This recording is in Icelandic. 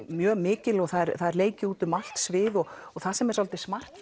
mjög mikil og það er leikið út um allt svið og það sem er svolítið smart